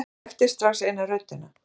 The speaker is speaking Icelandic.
Hann þekkti strax eina röddina.